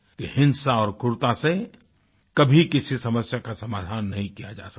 ये हिंसा और क्रूरता से कभी किसी समस्या का समाधान नहीं किया जा सकता